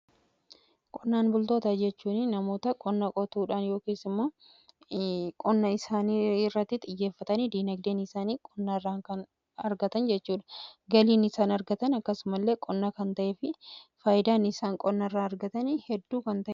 Qonnaan bultoota jechuun namoota qonna qotuudhaan yookiis immoo qonna isaanii irratti xiyyeeffatanii diinagdee isaanii qonnarraa kan argatan jechuudha. Galiin isaan argatan akkasumallee qonna kan ta'ee fi faayidaan isaan qonna irraa argatan hedduu kan ta'eedha.